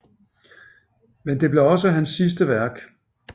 Men det blev også hans sidste værk